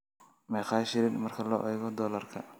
meeqa shilin marka loo eego dollarka